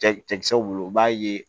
Cɛ cɛkisɛw bolo u b'a ye